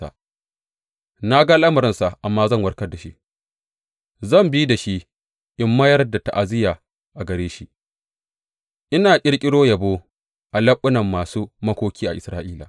Na ga al’amuransa, amma zan warkar da shi; zan bi da shi in mayar da ta’aziyya a gare shi, ina ƙirƙiro yabo a leɓunan masu makoki a Isra’ila.